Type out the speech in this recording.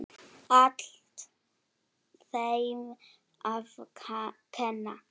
Allt þeim að kenna.!